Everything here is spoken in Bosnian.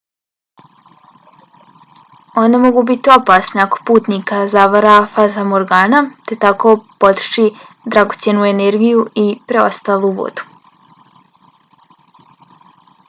one mogu biti opasne ako putnika zavara fatamorgana te tako potroši dragocjenu energiju i preostalu vodu